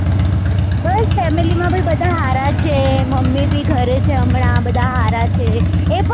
બસ family માં બી બધા સારા છે મમ્મી બી ઘરે છેહમણાં બધા સારા છે